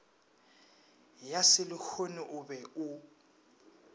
ya selehono o be o